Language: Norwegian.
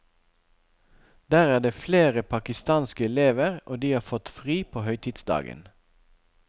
Der er det flere pakistanske elever, og de har fått fri på høytidsdagen.